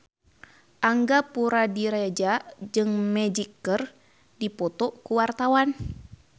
Angga Puradiredja jeung Magic keur dipoto ku wartawan